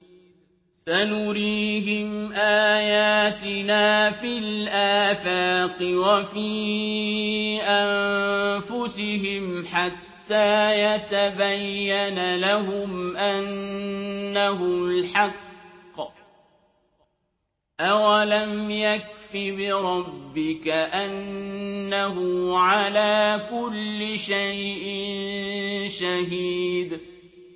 سَنُرِيهِمْ آيَاتِنَا فِي الْآفَاقِ وَفِي أَنفُسِهِمْ حَتَّىٰ يَتَبَيَّنَ لَهُمْ أَنَّهُ الْحَقُّ ۗ أَوَلَمْ يَكْفِ بِرَبِّكَ أَنَّهُ عَلَىٰ كُلِّ شَيْءٍ شَهِيدٌ